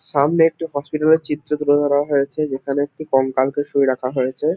সামনে একটি হসপিটাল -এর চিত্র তুলে ধরা হয়েছে। যেখানে একটি কঙ্কালকে শুয়ে রাখা হয়েছে।